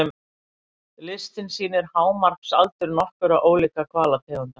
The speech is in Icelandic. Listinn sýnir hámarksaldur nokkurra ólíkra hvalategunda.